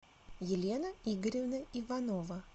елена игоревна иванова